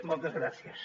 moltes gràcies